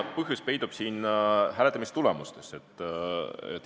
Põhjus peitub siin hääletamistulemustes.